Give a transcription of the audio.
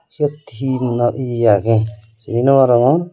siot hi no ye ye agey sini nwarongor.